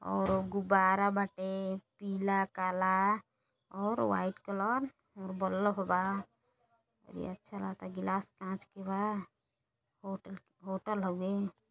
और गुब्बारा बाटे पीला काला और व्हाइट कलर और बलफ बा। अरी अच्छा लागता। गिलास कांच के बा। होटल होटल हउवे।